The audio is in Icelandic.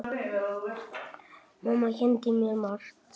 Mamma kenndi mér margt.